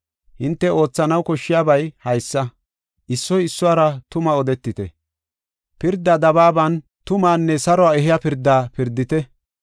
Hinte oothanaw koshshiyabay haysa: issoy issuwara tumaa odetite; pirda dabaaban tumaanne saruwa ehiya pirda pirdite.